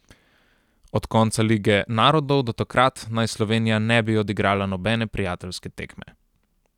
Od konca lige narodov do takrat naj Slovenija ne bi odigrala nobene prijateljske tekme.